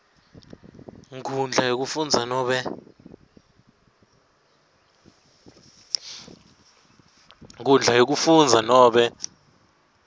nkhundla yekufundza nobe